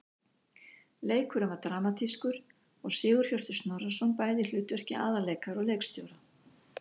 Leikurinn var dramatískur og Sigurhjörtur Snorrason bæði í hlutverki aðalleikara og leikstjóra.